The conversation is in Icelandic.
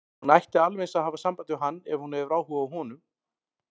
Hún ætti alveg eins að hafa samband við hann ef hún hefur áhuga á honum.